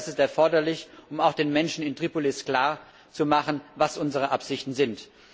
Ich denke, das ist erforderlich, um auch den Menschen in Tripolis klarzumachen, was unsere Absichten sind.